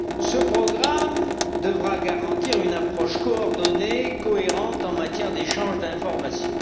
Ce programme devra garantir une approche coordonnée, cohérente en matière d'échange d'informations.